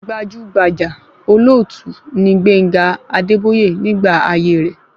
Gbajúgbajà olóòtú ni Gbénga Adébóyè nígbà ayé rẹ̀